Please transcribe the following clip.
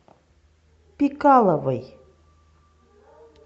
пикаловой